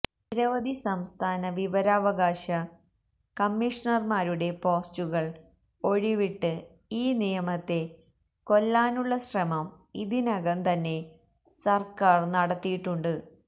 നിരവധി സംസ്ഥാന വിവരാവകാശ കമ്മിഷണര്മാരുടെ പോസ്റ്റുകള് ഒഴിവിട്ട് ഈ നിയമത്തെ കൊല്ലാനുള്ള ശ്രമം ഇതിനകം തന്നെ സര്ക്കാര് നടത്തിയിട്ടുണ്ട്